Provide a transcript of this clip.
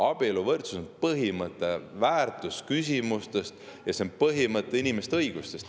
Abieluvõrdsus on põhimõte, väärtusküsimus, see on põhimõte, inimeste õigusi.